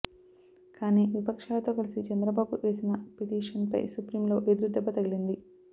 కానీ విపక్షాలతో కలిసి చంద్రబాబు వేసిన పిటిషన్పై సుప్రీంలో ఎదురు దెబ్బ తగిలింది